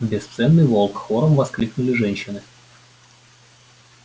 бесценный волк хором воскликнули женщины